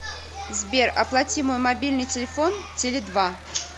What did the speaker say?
сбер оплати мой мобильный телефон теле два